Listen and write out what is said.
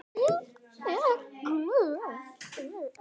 Ég er glöð.